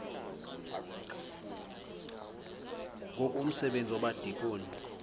ngoku umsebenzi wabadikoni